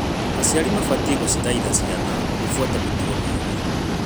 Aciari mabatiĩ gũcithaitha ciana gũbuata mĩtugo mĩega.